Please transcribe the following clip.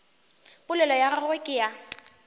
polelo ya gagwe ke ya